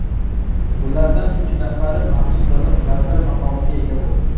Ulardan uch nafari maxsus davlat vaziri maqomiga ega bo‘ldi.